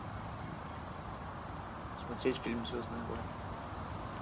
смотреть фильм звездные войны